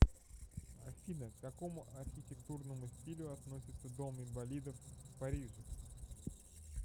афина к какому архитектурному стилю относится дом инвалидов в париже